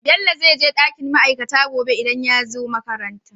Bello zai je dakin ma'aikata gobe idan yazo makaranta